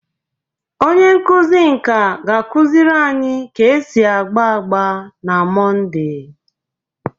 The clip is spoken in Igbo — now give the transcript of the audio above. Onye nkuzi nka ga-akụziri anyị ka esi agba agba na Mọnde.